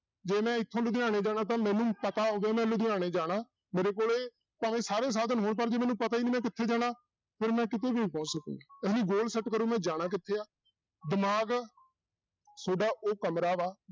ਜੇ ਮੈਂ ਇੱਥੋਂ ਲੁਧਿਆਣੇ ਜਾਣਾ ਤਾਂ ਮੈਨੂੰ ਪਤਾ ਹੋਵੇ ਮੈਂ ਲੁਧਿਆਣੇ ਜਾਣਾ ਮੇਰੇ ਕੋਲੇ ਭਾਵੇਂ ਸਾਰੇ ਸਾਧਨ ਹੋਣ ਪਰ ਜੇ ਮੈਨੂ ਪਤਾ ਹੀ ਨੀ ਮੈਂ ਕਿੱਥੇ ਜਾਣਾ, ਫਿਰ ਮੈਂ ਕਿਤੇ ਵੀ ਨਹੀਂ ਪੁਛਹੁ ਸਕਦਾ goal set ਕਰੋ ਮੈਂ ਜਾਣਾ ਕਿੱਥੇ ਆ, ਦਿਮਾਗ ਤੁਹਾਡਾ ਉਹ ਕਮਰਾ ਵਾ